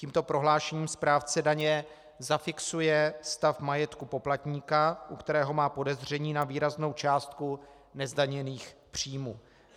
Tímto prohlášením správce daně zafixuje stav majetku poplatníka, u kterého má podezření na výraznou částku nezdaněných příjmů.